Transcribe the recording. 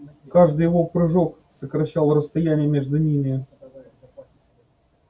каждый его прыжок сокращал расстояние между ними